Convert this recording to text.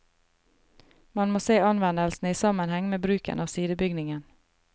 Man må se anvendelsen i sammenheng med bruken av sidebygningen.